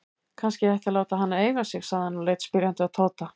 Kannski ég ætti að láta hana eiga sig? sagði hann og leit spyrjandi á Tóta.